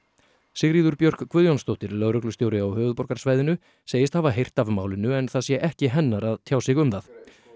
Sigríður Björk Guðjónsdóttir lögreglustjóri á höfuðborgarsvæðinu segist hafa heyrt af málinu en það sé ekki hennar að tjá sig um það